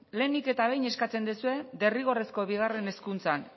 lehenik eta behin eskatzen duzue derrigorrezko bigarren hezkuntzan